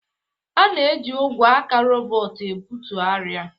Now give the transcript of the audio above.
A ga-eji ogwe aka robot ebutu arịa.